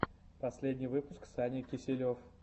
последний выпуск саня киселев